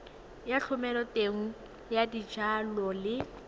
ya thomeloteng ya dijalo le